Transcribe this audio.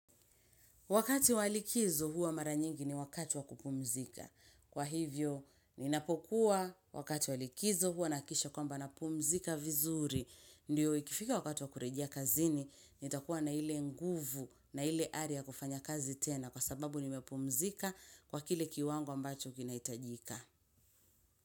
Wakati wa likizo huwa mara nyingi ni wakati wa kupumzika. Kwa hivyo, ninapokuwa wakati walikizo huwa na hakikisha kwamba napumzika vizuri. Ndio ikifika wakati wakurejea kazini, nitakuwa na ile nguvu na ile ari ya kufanya kazi tena kwa sababu nimepumzika kwa kile kiwango ambacho kinahitajika.